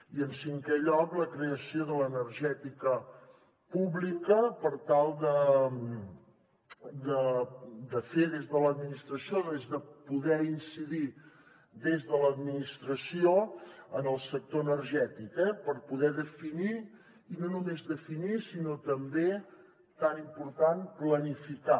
i en cinquè lloc la creació de l’energètica pública per tal de fer des de l’administració poder incidir des de l’administració en el sector energètic per poder definir i no només definir sinó també tan important planificar